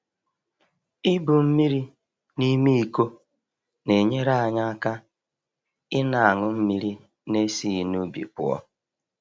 Ibu mmiri n’ime iko na-enyere anyị aka ịna aṅụ mmiri n'esighi n’ubi pụọ